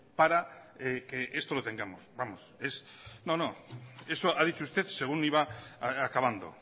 para que esto lo tengamos no no eso ha dicho usted según iba acabando